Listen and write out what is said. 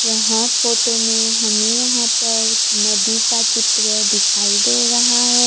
यहां फोटो में हमें यहां पर नदी का चित्र दिखाई दे रहा है।